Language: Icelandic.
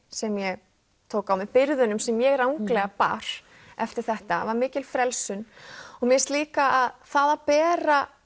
sem ég tók á mig byrðunum sem ég ranglega bar eftir þetta var mikil frelsun mér finnst líka það að bera